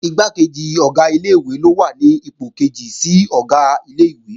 Igbákejì Ọ̀gá ilé-ìwé ló wà ní ipò kejì sí Ọ̀gá ilé-ìwé